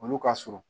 Olu ka surun